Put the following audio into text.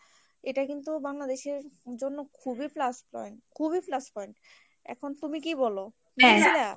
এটা কিন্তু বাংলাদেশের জন্য খুবই plus point খুবই plus point এখন তুমি কি বলো ?